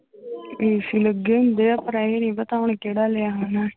AC ਲੱਗੇ ਹੁੰਦੇ ਆ ਪਰ ਇਹ ਨੀ ਪਤਾ ਹੁਣ ਕਿਹੜਾ ਲਿਆ ਉਹਨੇ।